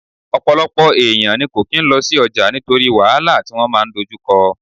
Ọ̀pọ̀lọpọ̀ èèyàn ní kò kín lọ sí ọjà nítorí wàhálà tí wọ́n máa dojú kọ